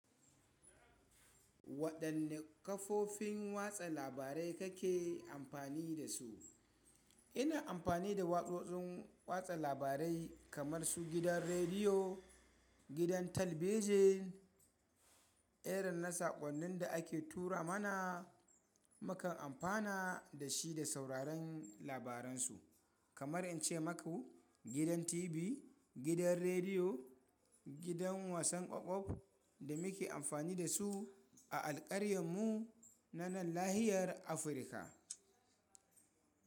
Waɗanne kafofin watsa labarai kake amfani da su? Ina amfani da watsotsin watsa labarai kamar su gidan rediyo, gidan talabijin, irin na saƙonnin da ake tura mana. Mukan amfana da shi da sauraron labaran su. Kamar in ce maku gidan TV, gidan rediyo, gidan wasan ƙwaƙwal da muke amfani da su a alƙaryarmu na nan lahiyar Afirka.